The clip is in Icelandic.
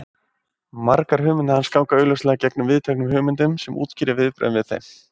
Margar hugmyndir hans ganga augljóslega gegn viðteknum hugmyndum sem útskýrir viðbrögðin við þeim.